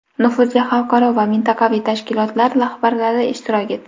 nufuzli xalqaro va mintaqaviy tashkilotlar rahbarlari ishtirok etdi.